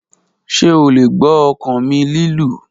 Ṣe o le gbọ ọkan mi lilu?